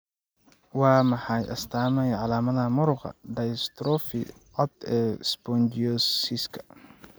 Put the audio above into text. Waa maxay astamaha iyo calaamadaha muruqa dystrophy cad ee Spongiosiska?